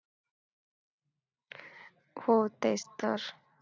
हो तेच तर.